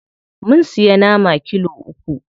Mun siya nama kilo uku.